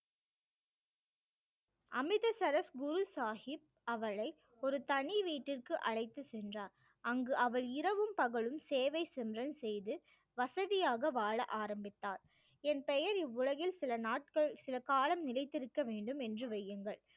அமிர்தசரஸ் புல் சாஹிப் அவளை ஒரு தனி வீட்டிற்கு அழைத்து சென்றார் அங்கு அவர் இரவும் பகலும் சேவை சிம்ரன் செய்து வசதியாக வாழ ஆரம்பித்தார் என் பெயர் இவ்வுலகில் சில நாட்கள் சில காலம் நிலைத்திருக்க வேண்டும் என்று வையுங்கள்